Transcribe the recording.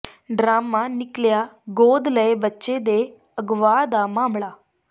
drama ਨਿੱਕਲਿਆ ਗੋਦ ਲਏ ਬੱਚੇ ਦੇ ਅਗਵਾ ਦਾ ਮਾਮਲਾ